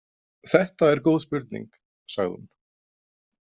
Þetta er góð spurning, sagði hún.